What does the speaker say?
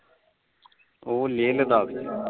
ਉਹ ਲੇਹ ਲਦਾਖ ਵਿੱਚ